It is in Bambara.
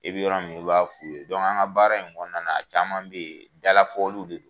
I bi yɔrɔ min i b'a f'u ye an ka baara in kɔnɔna na caman be yen dala fɔliw de don